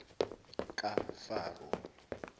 kafaro